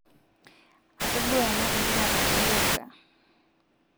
atodua enaa igira atalu olorika